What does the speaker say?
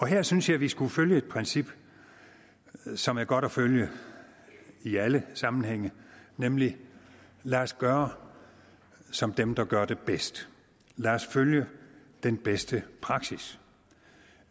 her synes jeg at vi skulle følge et princip som er godt at følge i alle sammenhænge nemlig lad os gøre som dem der gør det bedst lad os følge den bedste praksis